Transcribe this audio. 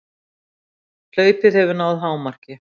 Hlaupið hefur náð hámarki